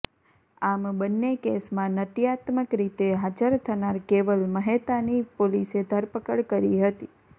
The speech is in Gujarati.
આમ બંને કેસમાં નાટયાત્મક રીતે હાજર થનાર કેવલ મહેતાની પોલીસે ધરપકડ કરી હતી